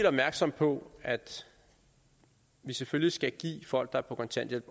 opmærksomme på at vi selvfølgelig også skal give folk der er på kontanthjælp